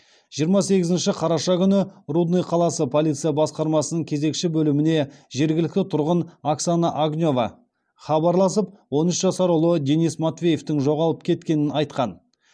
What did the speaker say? жиырма сегізінші қараша күні рудный қаласы полиция басқармасының кезекші бөліміне жергілікті тұрғын оксана огнева хабарласып он үш жасар ұлы денис матвеевтің жоғалып кеткенін айтқан